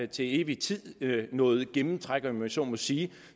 til evig tid er noget gennemtræk om jeg så må sige